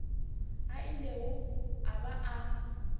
a ilego a ba a